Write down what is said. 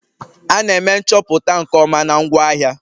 A na-eme nchọpụta nke ọma na ngwaahịa